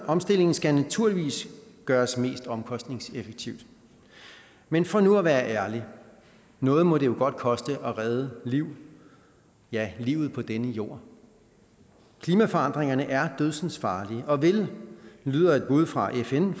omstillingen skal naturligvis gøres mest omkostningseffektivt men for nu at være ærlig noget må det jo godt koste at redde liv ja livet på denne jord klimaforandringerne er dødsensfarlige og vil lyder et bud fra fn